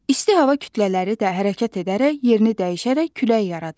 İsti hava kütlələri də hərəkət edərək yerini dəyişərək külək yaradır.